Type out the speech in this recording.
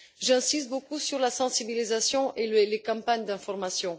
J'insiste beaucoup sur la sensibilisation et les campagnes d'information.